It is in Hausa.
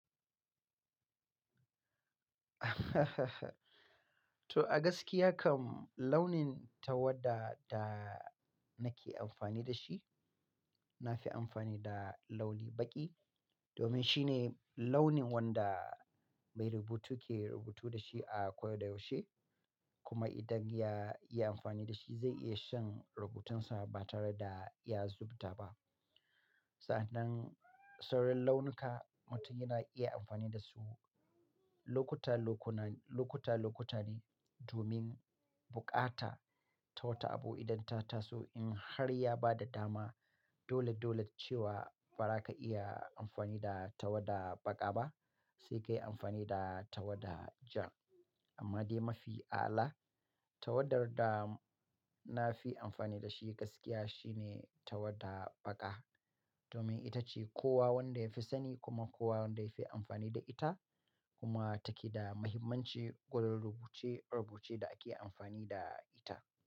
To a gaskiya kam launin tawada da nake amfani da shi, na fi amfani da launi baƙi domin shine launin wanda mai rubutu ke rubutu da shi a ko da yaushe. Kuma idan ya yi amfani da shi zai iya shan rubutunsa ba tare da ya zubuta ba. Sa'annan, sauran launuka mutum yana iya amfani da su lokuta-lokuna, lokuta-lokuta ne domin bukata ta wata abu idan ta taso. In har ya ba da dama dole-dole cewa ba za ka iya amfani da tawada baƙa ba, sai ka yi amfani da tawada ja. Amma dai mafi ala, tawadar da na fi amfani da shi gaskiya shine tawada baƙa. Domin ita ce kowa wanda ya fi sani kuma kowa wanda ya fi amfani da ita. Kuma take da mahimmanci gurin rubuce-rubuce da ake amfani da ita.